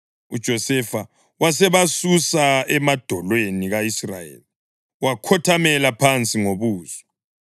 UJosefa wasebasusa emadolweni ka-Israyeli wakhothamela phansi ngobuso.